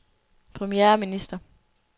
premierminister